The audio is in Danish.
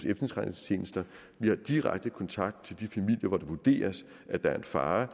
vi har direkte kontakt til de familier hvor det vurderes at der er en fare